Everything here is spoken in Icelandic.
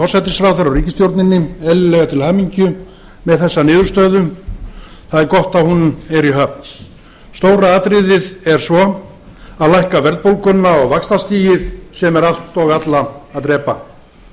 forsætisráðherra og ríkisstjórninni eðlilega til hamingju með þessa niðurstöðu það er gott að hún er í höfn stóra atriðið er svo að lækka verðbólguna og vaxtastigið sem er allt og alla að drepa